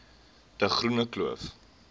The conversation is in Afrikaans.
de groene kloof